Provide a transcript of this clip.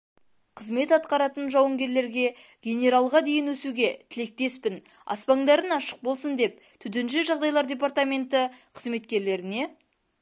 қызмет атқаратын жауынгерлерге генералға дейін өсуге тілектеспін аспандарың ашық болсын деп төтенше жағдайлар департаменті қызметкерлеріне